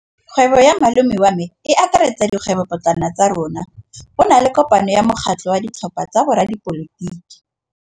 Kgwêbô ya malome wa me e akaretsa dikgwêbôpotlana tsa rona. Go na le kopanô ya mokgatlhô wa ditlhopha tsa boradipolotiki.